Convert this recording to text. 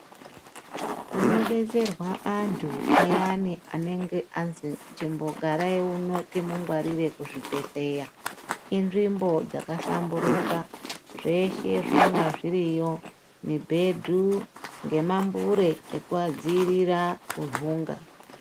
Kunodetserwa antu ayani anenge azi chimbogarai uno timungwarire kuzvibhedhleya, inzvimbo dzakahlamburuka, zveshe zvinonga zviriyo, mibhedhu, ngemambure ekuadziirira kunhunga.